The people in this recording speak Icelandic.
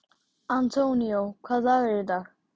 Antonio, hvaða dagur er í dag?